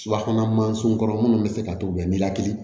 Subahana mansinw kɔrɔ minnu bɛ se ka to u bɛ ni lakili